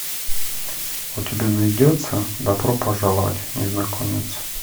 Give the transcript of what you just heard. у тебя найдется добро пожаловать незнакомец